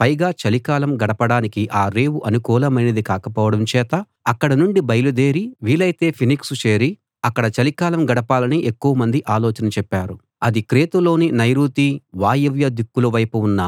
పైగా చలి కాలం గడపడానికి ఆ రేవు అనుకూలమైనది కాకపోవడం చేత అక్కడ నుండి బయలుదేరి వీలైతే ఫీనిక్సు చేరి అక్కడ చలికాలం గడపాలని ఎక్కువమంది ఆలోచన చెప్పారు అది క్రేతులోని నైరుతి వాయువ్య దిక్కుల వైపు ఉన్న